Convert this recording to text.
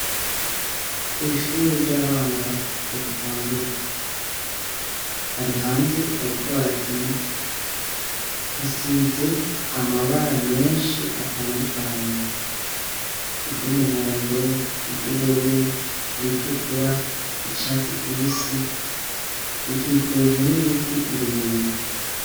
Kw'ishuri ry'abana bato bagitangura, barihanze bariko barakina ,hasize amabara menshi atandukanye: iry'umuhondo, iry'ubururu, iritukura ,iryicatsi kibisi rikikujwe n'ibiti birebire.